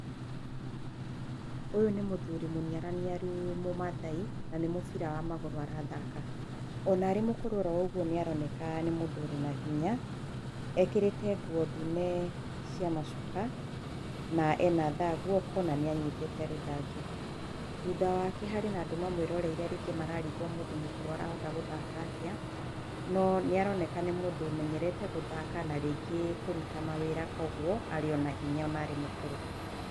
Ũyũ nĩ mũthũri mũniaruniaru mũmathai, na nĩ mũbĩra wa magũrũ arathaka. Ona arĩ mũkũrũ o ũguo nĩ aroneka nĩ mũndũ arĩ na hinya. Ekĩrĩte nguo ndune cia macuka na ena thaa guoko, na nĩ anyitĩte na guoko rũthanju. Thutha wake harĩ na andũ mamwĩroreire makarigwo mũndũ mũkũrũ arahota gũthaka atĩa, no nĩ aroneka nĩ mũndũ ũmenyerete gũthaka, na rĩngĩ na kũruta mawĩra koguo arĩ ona arĩ o nahinya ona arĩ mũkũrũ.